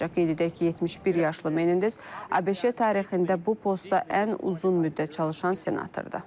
Qeyd edək ki, 71 yaşlı Menendez ABŞ tarixində bu postda ən uzun müddət çalışan senatordur.